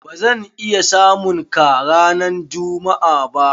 Ba zan iya samun ka ranan jummu'a ba.